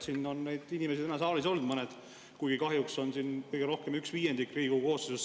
Siin on neid inimesi täna saalis olnud, kuigi kahjuks on siin praegu kõige rohkem üks viiendik Riigikogu koosseisust.